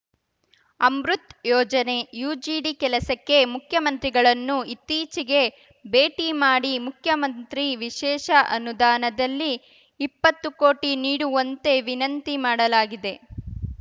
ಅಮೃತ್‌ ಯೋಜನೆ ಯುಜಿಡಿ ಕೆಲಸಕ್ಕೆ ಮುಖ್ಯಮಂತ್ರಿಗಳನ್ನು ಇತ್ತೀಚೆಗೆ ಭೇಟಿ ಮಾಡಿ ಮುಖ್ಯಮಂತ್ರಿ ವಿಶೇಷ ಅನುದಾನದಲ್ಲಿ ಇಪ್ಪತ್ತು ಕೋಟಿ ನೀಡುವಂತೆ ವಿನಂತಿ ಮಾಡಲಾಗಿದೆ